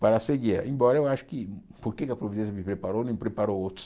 para seguir, embora eu ache que porque a providência me preparou e não preparou outros.